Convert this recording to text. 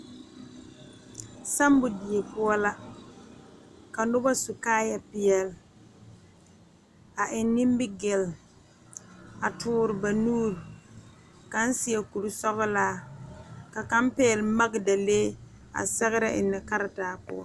Samo die poɔ la ka noba su kaaya peɛle a eŋ nimigel a tuure ba nuure kaŋ seɛ kuri sɔglaa ka kaŋ pegle magdalee a sɛgre enne karetaa poɔ.